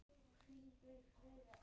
Þannig stendur málið núna.